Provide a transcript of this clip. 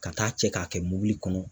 Ka taa cɛ ka kɛ mobili kɔnɔ.